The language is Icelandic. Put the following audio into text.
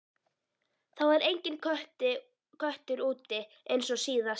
Það var enginn köttur úti eins og síðast.